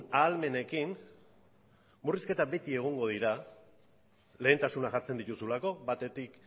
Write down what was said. ahalmenekin murrizketak beti egongo dira lehentasunak jartzen dituzulako batetik